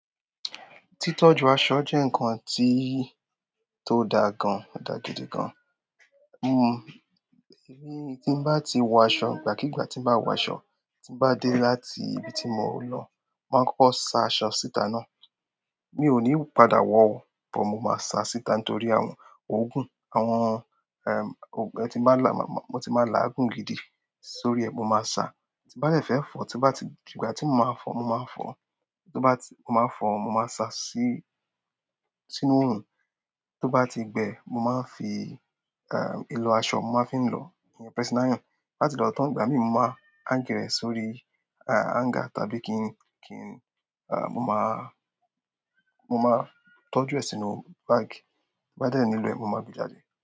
Títọ́jú aṣọ jẹ́ ǹkan tí tó dáa gan, o dáa gidigan gan. Em, èmi tí n bá ti wọ aṣọ, ìgbàkígbà tí n bá wọ aṣọ, tí n bá dé láti ibi tí mo lọ, màá kọ́kọ́ sa aṣọ síta náà. Mi ò ní padà wọ̀ ọ́, but mo máa sa síta nítorí àwọn ògùn, àwọn, eh, òg-- ẹ ti máa lá, mo ti máa lá àgùn gidì sórí ẹ, mo máa sa. Tí bá dẹ̀ fẹ́ fọ, tí bá ti-- ìgbà tí mo máa fọ, mo máa fọ. Tí ó bá ti-- mo máa fọ, mo máa sa sí, sínú orun. Tí ó bá ti gbẹ, mo máa fi, eh, ìlọ aṣọ, mo máa fi ń lọ. Ìyẹn pressing ironn. Láti lọ tán, ìgbà mí mọ máa hang rẹ̀ sórí, ah, hanger tàbí kí n, kí n, ah, mo máa, mo máa tọ́jú ẹ sínú báàgì. Ti bá dẹ̀ ní lo ẹ, mo máa gbe jáde.